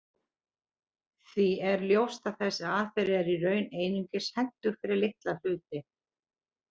Því er ljóst að þessi aðferð er í raun einungis hentug fyrir litla hluti.